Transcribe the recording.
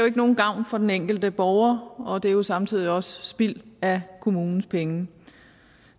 ikke nogen gavn for den enkelte borger og det er jo samtidig også spild af kommunens penge